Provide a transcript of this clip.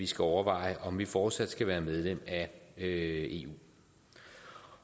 skal overveje om vi fortsat skal være medlem af eu